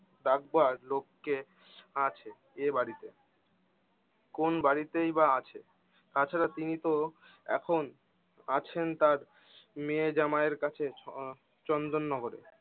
ডাকবার লোক কে আছে এই বাড়িতে? কোন বাড়িতেই বা আছে? তাছাড়া তিনি তো এখন আছেন তার মে জামাই এর কাছে আহ চন্দন নগরে